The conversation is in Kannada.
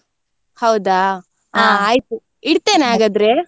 ಹೌದಾ? ಇಡ್ತೇನೆ ?